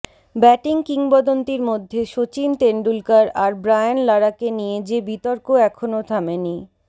batting কিংবদন্তির মধ্যে শচিন টেন্ডুলকার আর ব্রায়ান লারাকে নিয়ে যে বিতর্ক এখনও থামেনি